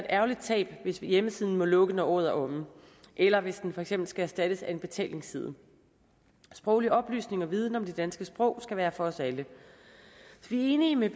ærgerligt tab hvis hjemmesiden må lukke når året er omme eller hvis den for eksempel skal erstattes af en betalingsside sproglig oplysning og viden om det danske sprog skal være for os alle vi er enige med